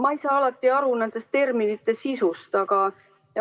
Ma ei saa alati aru nende terminite sisust.